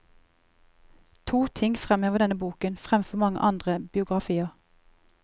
To ting fremhever denne boken fremfor mange andre biografier.